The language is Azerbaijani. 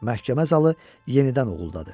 Məhkəmə zalı yenidən uğuldadı.